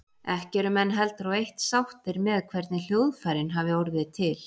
Ekki eru menn heldur á eitt sáttir með hvernig hljóðfærin hafi orðið til.